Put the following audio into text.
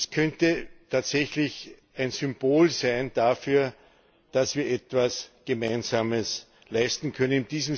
Es könnte tatsächlich ein Symbol dafür sein, dass wir etwas Gemeinsames leisten können.